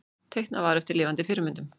Teiknað var eftir lifandi fyrirmyndum.